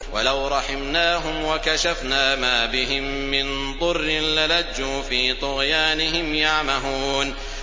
۞ وَلَوْ رَحِمْنَاهُمْ وَكَشَفْنَا مَا بِهِم مِّن ضُرٍّ لَّلَجُّوا فِي طُغْيَانِهِمْ يَعْمَهُونَ